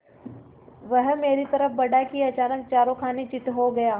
वह मेरी तरफ़ बढ़ा कि अचानक चारों खाने चित्त हो गया